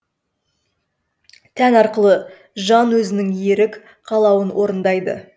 тән арқылы жан өзінің ерік қалауын орындайды